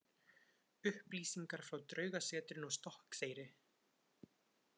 Upplýsingar frá Draugasetrinu á Stokkseyri.